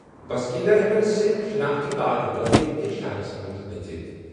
بسکیٖن در ہٮ۪کَن صِرِف شناختی کارڈ ہٲوِتھ شہرَس منٛز اژِتھ۔